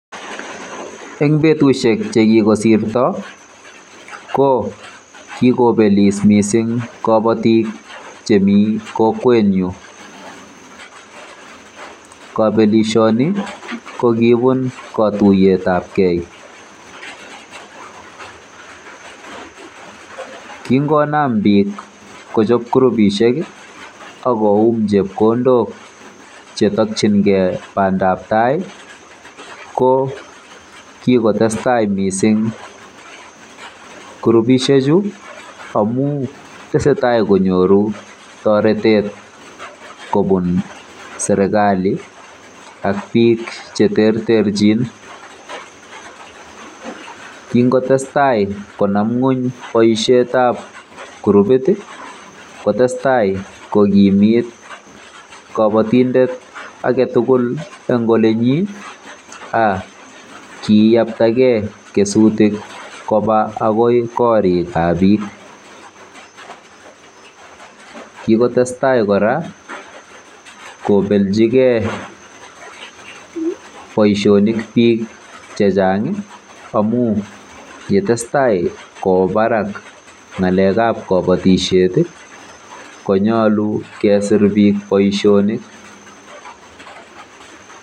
En betusiek chekikosirto ko kikobelis missing' kobotik chemi kokwenyun, kobelisioni ko kibun kotuyetabgee, kingonam biik kochob kurubisiek akoyum chebkondok chetokyingen bandab tai ko kikotestai missing' kurubisiechu amun tesetai konyoru toretet kobun sergali ak biik cheterterjin, king'otestai konam ny'weny boisiet ab kurubit ii kotestai kogimit kobotindet agetugul en olenyin ak kiyaktagei kesutuk agoi koriik ab biik, kikotestai kora kobeljigen boisionik biik chechang' amun kiesetai kowendi barak ng'alek ab kobotisiet ii kony'olu kesir biik boisionik.